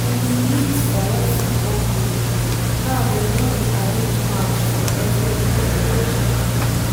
dey bin meet for one football group now dem con dey arrange match for every weekend